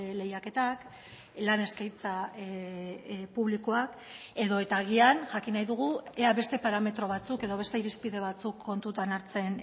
lehiaketak lan eskaintza publikoak edota agian jakin nahi dugu ea beste parametro batzuk edo beste irizpide batzuk kontutan hartzen